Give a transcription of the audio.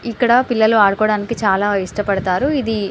ఇక్కడ పిల్లలు ఆడుకోవడానికి చాల ఇష్టపడతారు ఇది --